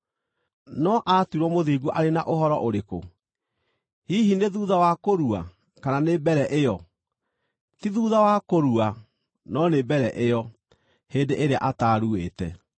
No aatuirwo mũthingu arĩ na ũhoro ũrĩkũ? Hihi nĩ thuutha wa kũrua, kana nĩ mbere ĩyo? Ti thuutha wa kũrua, no nĩ mbere ĩyo, hĩndĩ ĩrĩa ataaruĩte!